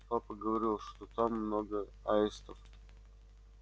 папа говорил что там много аистов